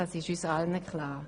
Das ist uns allen klar.